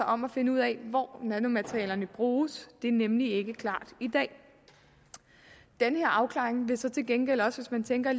om at finde ud af hvor nanomaterialerne bruges det er nemlig ikke klart i dag den afklaring vil så til gengæld også hvis man tænker